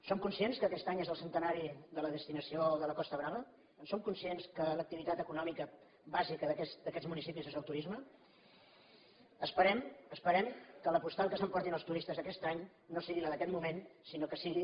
som conscients que aquest any és el cente·nari de la destinació de la costa brava som conscients que l’activitat econòmica bàsica d’aquests municipis és el turisme esperem que la postal que s’emportin els tu·ristes aquest any no sigui la d’aquest moment sinó que sigui